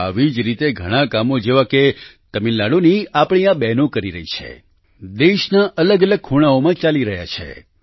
આવી જ રીતે ઘણાં કામો જેવા કે તમિલનાડુની આપણી આ બહેનો કરી રહી છે દેશના અલગ અલગ ખૂણાઓમાં ચાલી રહ્યા છે